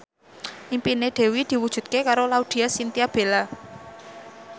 impine Dewi diwujudke karo Laudya Chintya Bella